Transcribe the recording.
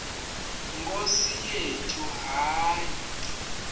nkosi yethu hayi